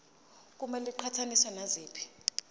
kumele iqhathaniswe naziphi